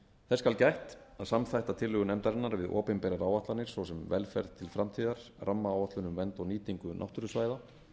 þess skal gætt að samþætta tillögur nefndarinnar við opinberar áætlanir svo sem velferð til framtíðar rammaáætlun um vernd og nýtingu náttúrusvæða